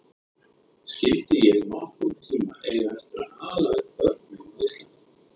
Skyldi ég nokkurn tíma eiga eftir að ala upp börn mín á Íslandi?